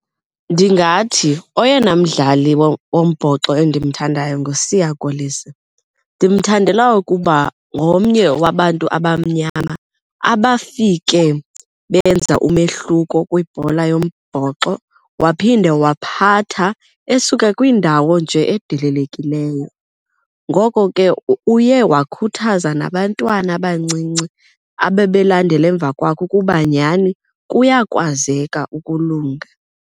Ndingathi oyena mdlali wombhoxo endimthandayo nguSiya Kolisi. Ndimthandela ukuba ngomnye wabantu abamnyama abafike benza umehluko kwibhola yombhoxo waphinde wawaphatha esuka kwiindawo nje edelelekileyo. Ngoko ke uye wakhuthaza nabantwana abancinci ababelandela emva kwakhe ukuba nyhani kuyakwazeka ukulunga.